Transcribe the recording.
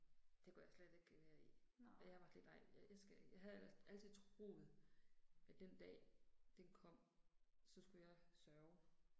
Det kunne jeg slet ikke være i. Og jeg var sådan lidt ej, jeg jeg skal jeg havde ellers altid troet, at den dag, den kom, så skulle jeg sørge